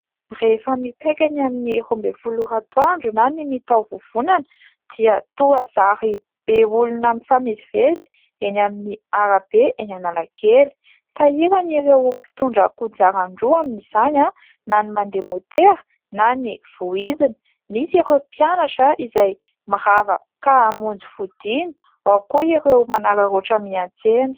Rehefa mipaika ny amin'ny roa ambin'ny folo ora antoandro na ny mitatao vovonana dia toa zary be olona mifamezivezy eny amin'ny arabe eny Analakely. Sahirana ireo mpitondra kodiaran-droa amin'izany : na ny mandeha môtera, na ny voizina. Misy ireo mpianatra izay mirava ka hamonjy fodiana, ao koa ireo manararaotra miantsena.